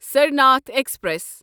Sarnath express